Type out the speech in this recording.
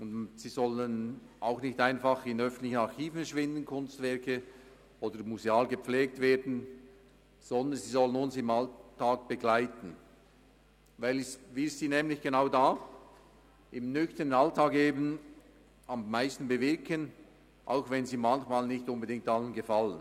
Sie sollen auch nicht einfach in öffentlichen Archiven verschwinden oder museal gepflegt werden, sondern uns im Alltag begleiten, weil sie nämlich genau im nüchternen Alltag am meisten bewirken, auch wenn sie manchmal nicht unbedingt allen gefallen.